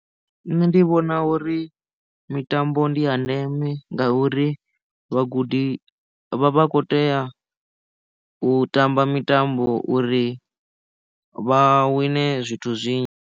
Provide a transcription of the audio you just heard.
Nṋe ndi vhona uri mitambo ndi ya ndeme ngauri vhagudi vha vha kho tea u tamba mitambo uri vha wine zwithu zwinzhi.